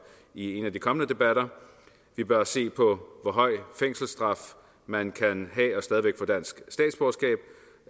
i en af de kommende debatter vi bør se på hvor høj fængselsstraf man kan have og stadig få dansk statsborgerskab